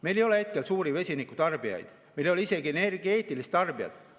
Meil ei ole suuri vesinikutarbijaid, meil ei ole isegi energeetilist tarbijat.